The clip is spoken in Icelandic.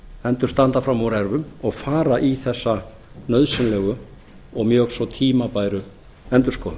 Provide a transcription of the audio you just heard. hendur standa fram úr ermum og fara í þessa nauðsynlegu og mjög svo tímabæru endurskoðun